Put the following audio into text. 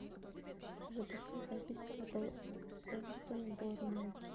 запускай запись апл эвертон борнмут